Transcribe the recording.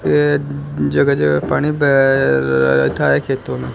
ये जगह जगह पानी बह रखा है खेतों में।